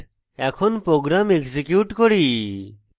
এখন program execute করি